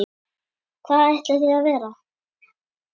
Hvar ætlið þið að vera?